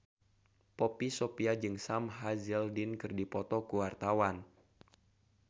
Poppy Sovia jeung Sam Hazeldine keur dipoto ku wartawan